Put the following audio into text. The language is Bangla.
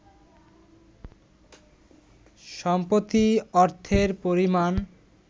সম্প্রতি অর্থের পরিমাণ